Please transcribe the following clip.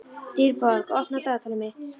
Dýrborg, opnaðu dagatalið mitt.